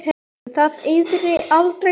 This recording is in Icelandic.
Um það yrði aldrei friður!